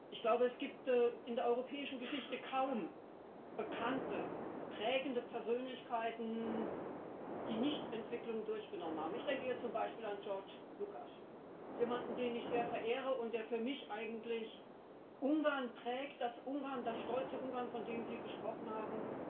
Ich glaube, es gibt in der europäischen Geschichte kaum bekannte prägende Persönlichkeiten, die nicht Entwicklungen durchlaufen haben. Ich denke da zum Beispiel an Georg Lukács, jemanden, den ich sehr verehre und der für mich eigentlich Ungarn prägt das stolze Ungarn, von dem Sie gesprochen haben.